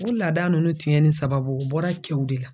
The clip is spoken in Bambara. O laada ninnu tiɲɛni sababu o bɔra kɛw de la.